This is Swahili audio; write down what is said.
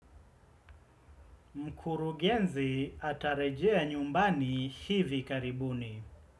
Mkurugenzi atarejea nyumbani hivi karibuni.